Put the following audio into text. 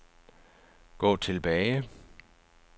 gå tilbage